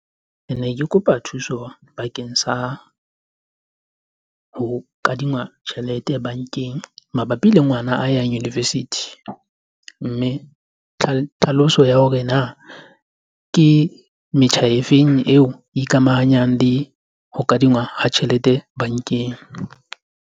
Kene ke kopa thuso bakeng sa ho kadingwa tjhelete bankeng mabapi le ngwana a yang university. Mme tlhaloso ya hore na ke metjha e feng eo ikamahanyang le ho kadingwa ha tjhelete bankeng.